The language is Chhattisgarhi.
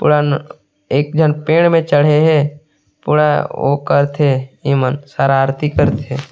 एक झन पेड़ में चढ़े हे ओ करथे एमन शरारती करथे।